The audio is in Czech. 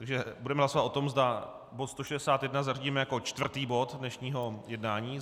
Takže budeme hlasovat o tom, zda bod 161 zařadíme jako čtvrtý bod dnešního jednání.